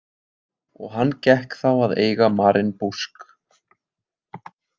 Og hann gekk þá að eiga Maren Busk.